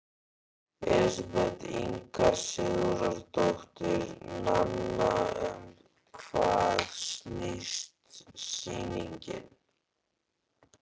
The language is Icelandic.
Elísabet Inga Sigurðardóttir: Nanna, um hvað snýst sýningin?